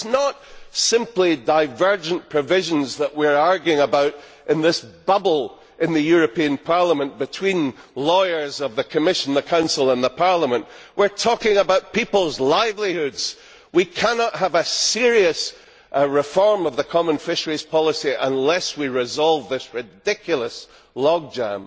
It is not simply divergent provisions that we are arguing about in this bubble in the European Parliament, between lawyers of the Commission, the Council and Parliament we are talking about peoples' livelihoods. We cannot have a serious reform of the common fisheries policy unless we resolve this ridiculous logjam.